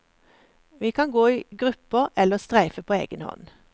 Vi kan gå i grupper, eller streife på egen hånd.